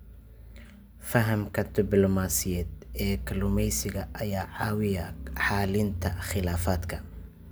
Fahamka dublamaasiyadeed ee kalluumaysiga ayaa caawiya xallinta khilaafaadka.